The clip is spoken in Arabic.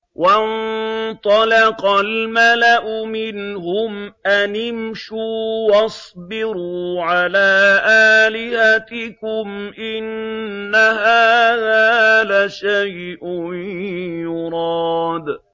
وَانطَلَقَ الْمَلَأُ مِنْهُمْ أَنِ امْشُوا وَاصْبِرُوا عَلَىٰ آلِهَتِكُمْ ۖ إِنَّ هَٰذَا لَشَيْءٌ يُرَادُ